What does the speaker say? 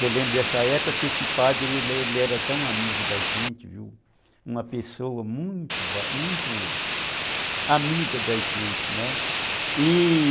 Eu lembro dessa época que esse padre ele era tão tão amigo da gente, uma pessoa muito muito amiga da gente, né, e